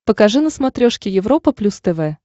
покажи на смотрешке европа плюс тв